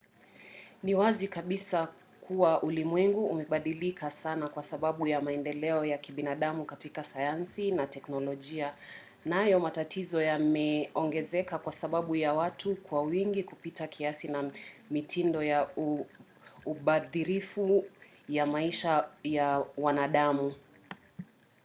ni wazi kabisa kuwa ulimwengu umebadilika sana kwa sababu ya maendeleo ya kibinadamu katika sayansi na teknolojia nayo matatizo yameongezeka kwa sababu ya watu kuwa wengi kupita kiasi na mitindo ya ubadhirifu ya maisha ya wanadamu